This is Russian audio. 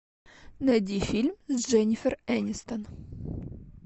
найди фильм с дженнифер энистон